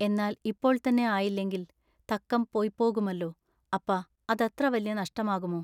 എന്നാൽ ഇപ്പോൾ തന്നെ ആയില്ലെങ്കിൽ തക്കം പൊയ്പോകുമല്ലോ അപ്പാ അതത്ര വല്യ നഷ്ടമാകുമൊ.